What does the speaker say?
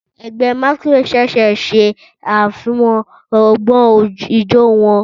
Ẹgbẹ́ Masqurade ṣẹ̀ṣẹ̀ ṣe àfihàn ọgbọ́n ijó wọn.